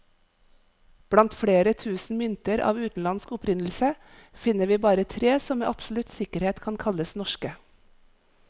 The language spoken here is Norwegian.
Blant flere tusen mynter av utenlandsk opprinnelse, finner vi bare tre som med absolutt sikkerhet kan kalles norske.